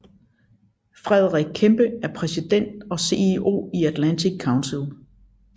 Frederick Kempe er præsident og CEO i Atlantic Council